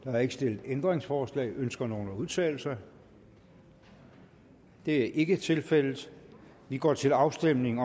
der er ikke stillet ændringsforslag ønsker nogen at udtale sig det er ikke tilfældet vi går til afstemning